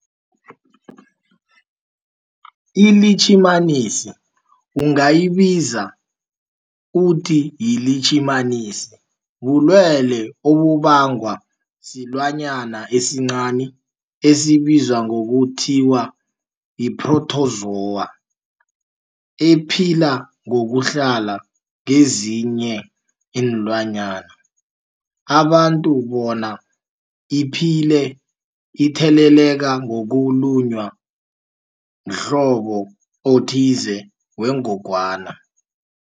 iLitjhimanisi ungayibiza uthiyilitjhimanisi, bulwelwe obubangwa silwanyana esincani esibizwa ngokuthiyi-phrotozowa ephila ngokuhlala kezinye iinlwana, abantu bona iphile itheleleka ngokulunywa mhlobo othize wengogwana.